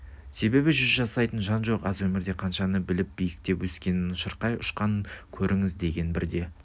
себебі жүз жасайтын жан жоқ аз өмірде қаншаны біліп биіктеп өскенін шырқай ұшқанын көріңіз деген бірде